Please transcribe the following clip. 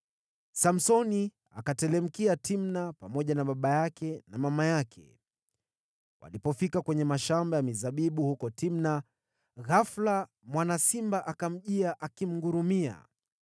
Samsoni akateremkia Timna pamoja na baba yake na mama yake. Walipofika kwenye mashamba ya mizabibu huko Timna, ghafula mwana simba akamjia akimngurumia.